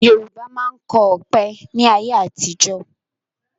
Yorùbá máa ń kọ ọ̀pẹ ni ayé àtijọ́